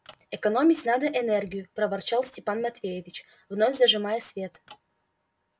экономить надо энергию проворчал степан матвеевич вновь зажимая свет